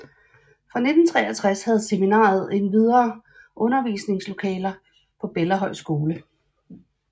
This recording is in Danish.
Fra 1963 havde seminariet endvidere undervisningslokaler på Bellahøj Skole